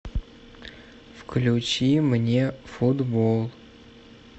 включи мне футбол